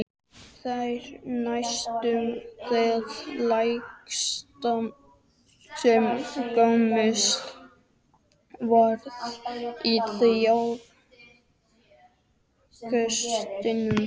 Þórgunnur næstum það lægsta sem komist varð í þjóðfélagsstiganum